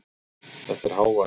Þetta er hávaði.